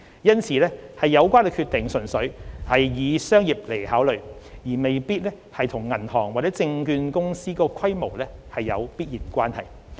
因此有關決定純粹以商業為考量，而未必與銀行或券商的規模有必然關係。